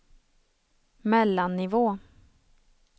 mellannivå